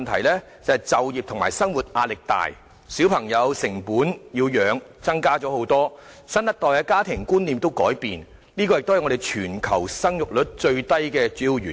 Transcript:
便是就業和生活壓力大，養育小朋友的成本增高，新一代家庭觀念改變，這些都是本港生育率屬全球最低的主要原因。